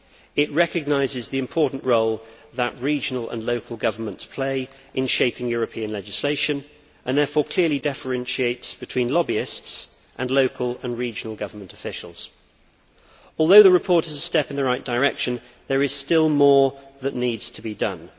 It recognises the important role that regional and local governments play in shaping European legislation, and therefore clearly differentiates between lobbyists and local and regional government officials. Although the report is a step in the right direction, there is still more that needs to be done.